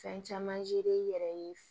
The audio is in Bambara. Fɛn caman i yɛrɛ ye